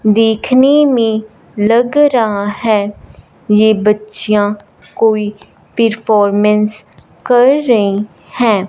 देखने मे लग रहा है ये बच्चियाँ कोई परफॉर्मेंस कर रही है।